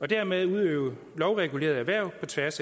og dermed udøve lovregulerede erhverv på tværs